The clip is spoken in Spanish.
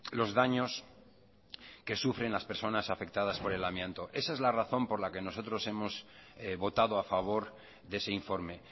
los daños que sufren las personas afectadas por el amianto esa es la razón por la que nosotros hemos votado a favor de ese informe